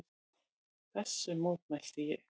Þessu mótmælti ég.